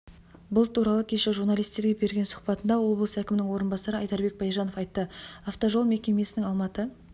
бұл туралы кеше журналистерге берген сұхбатында облыс әкімінің орынбасары айдарбек байжанов айтты автожол мекемесінің алматы